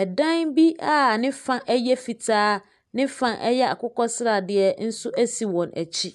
ɛdan bi a nefa ɛyɛ fitaa, ne fa ɛyɛ akokɔ sradeɛ nso esi wɔn akyi.